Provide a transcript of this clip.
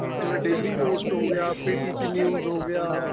ਜਿਵੇਂ daily post ਹੋ ਗਿਆ PTC news ਹੋ ਗਿਆ